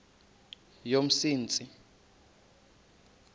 yomsintsi